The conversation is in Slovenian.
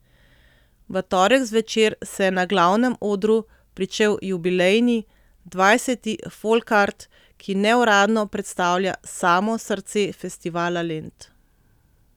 V torek zvečer se je na glavnem odru pričel jubilejni, dvajseti Folkart, ki neuradno predstavlja samo srce Festivala Lent.